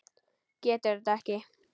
Getur þetta ekki.